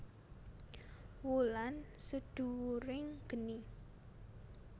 Wulan Sedhuwuring Geni